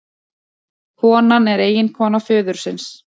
Konan er eiginkona föðursins